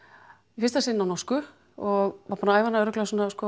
í fyrsta sinn á norsku og var búin að æfa hana örugglega svona